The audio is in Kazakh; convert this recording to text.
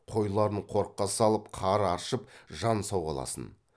қойларын қорыққа салып қар аршып жан сауғаласын